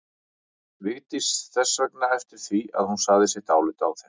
Vigdís þess vegna eftir því að hún segði sitt álit á þeim.